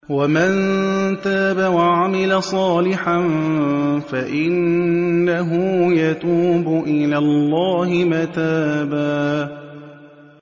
وَمَن تَابَ وَعَمِلَ صَالِحًا فَإِنَّهُ يَتُوبُ إِلَى اللَّهِ مَتَابًا